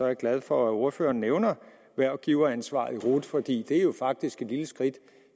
jeg glad for at ordføreren nævner hvervgiveransvaret i rut for det er jo faktisk et lille skridt